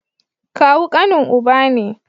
Kawu kanin uba ne